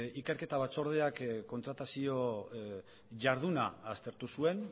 ikerketa batzordeak kontratazio jarduna aztertu zuen